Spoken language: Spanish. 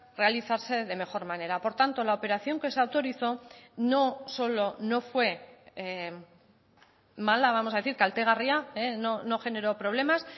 realizarse de mejor manera por tanto la operación que se autorizó no solo no fue mala vamos a decir kaltegarria no generó problemas